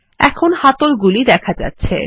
এখন হাতলগুলি দেখা যাচ্ছে